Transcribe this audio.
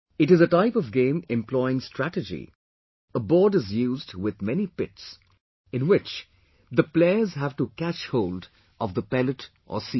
It is a type of game employing strategy in which a board is usedwith many pits, in which the players have to catch hold of the pellet or seed